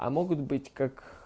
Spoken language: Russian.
а могут быть как